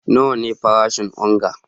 Nawa ne farashin onga?